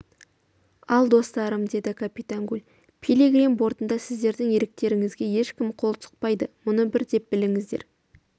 ал достарым деді капитан гуль пилигрим бортында сіздердің еріктеріңізге ешкім қол сұқпайды мұны бір деп біліңіздер